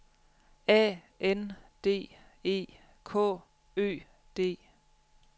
A N D E K Ø D